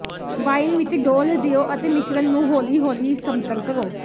wine ਵਿਚ ਡੋਲ੍ਹ ਦਿਓ ਅਤੇ ਮਿਸ਼ਰਣ ਨੂੰ ਹੌਲੀ ਹੌਲੀ ਸਮਤਲ ਕਰੋ